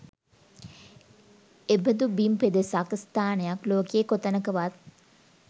එබඳු බිම් පෙදෙසක්, ස්ථානයක් ලෝකයේ කොතැනකවත්